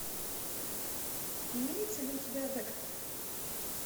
имеется ли у тебя декстер